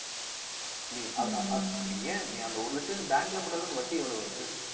நீ அ~ அ~ நீ ஏன் நீ அந்த ஒரு லட்சம் bank ல போட்டாலும் அந்த வட்டி எவ்வளவு வருது